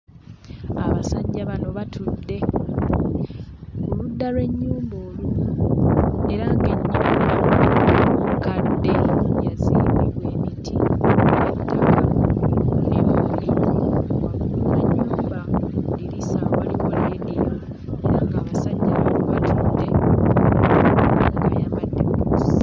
Abasajja bano batudde ku ludda lw'ennyumba olumu, era ng'ennyumba nkadde... mu ddiriisa mulimu leediyo.